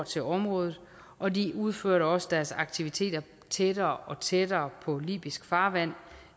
til området og de udførte også deres aktiviteter tættere og tættere på libysk farvand